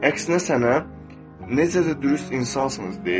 Əksinə sənə necə də dürüst insansınız deyəcək.